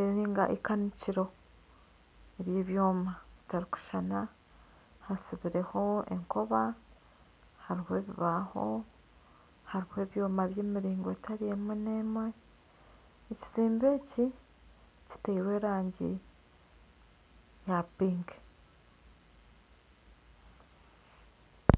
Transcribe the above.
eri nka ikanikiro ry'ebyoma bitarikushushana hasibireho enkoba hariho ebibaho hariho ebyoma by'emiringo etari emwe n'emwe ekizimbe eki kitairwe erangi ya piki